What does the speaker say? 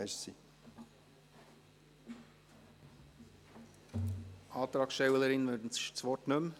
Die Antragstellerin wünscht das Wort nicht mehr.